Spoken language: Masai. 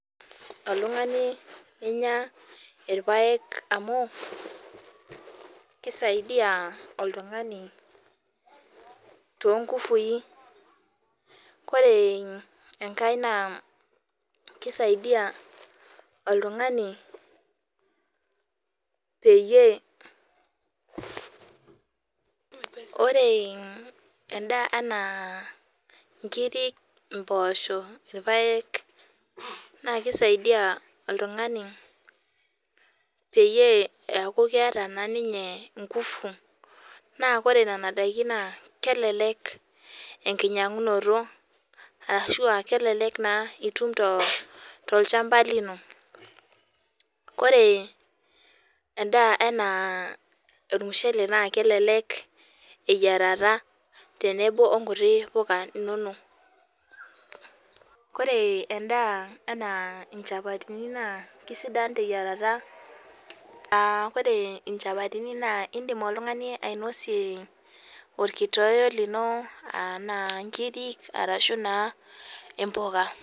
Oltung'ani ninyia irpaek amu kisaidai oltung'ani too nguvui ore enkae naa keisaidia oltung'ani peyie ore endaa ena nkiri mboshok irpaek naa keisaidia oltung'ani peyie eku keeta naa ninye nguvu naa ore Nena daikin kelelek enkinyiangunoto ashu kelelek etum to olchamba lino ore endaa ena ormushele naa kelelek eyiarata tenebo oo nkuti puka enono ore endaa ena chapatini kisidai teyiarata ore chapatini edim oltung'ani ainosie orkitoyoyo lino naijio nkiri arashu naa mbuka